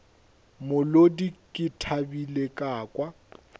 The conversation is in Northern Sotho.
molodi ke thabile ka kwa